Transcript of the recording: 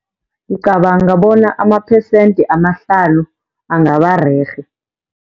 Ngicabanga bona amaphesenti amahlanu angabarerhe.